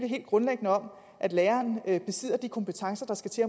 helt grundlæggende om at læreren besidder de kompetencer der skal til